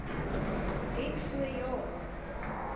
het so ja